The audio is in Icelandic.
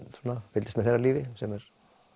fylgdist með þeirra lífi sem er